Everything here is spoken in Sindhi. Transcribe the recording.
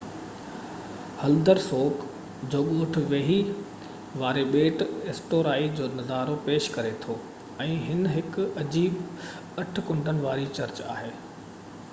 هلدرسوڪ جو ڳوٺ ويهي واري ٻيٽ ايسٽورائي جو نظارو پيش ڪريو ٿو ۽ هن ۾ هڪ عجيب اٺ ڪنڊن وارو چرچ آهي